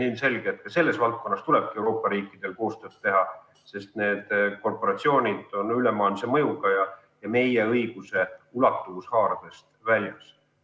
On ilmselge, et ka selles valdkonnas tuleb Euroopa riikidel koostööd teha, sest need korporatsioonid on ülemaailmse mõjuga ja meie õiguse ulatuvushaardest väljas.